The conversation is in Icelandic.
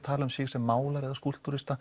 tala um sig sem málara eða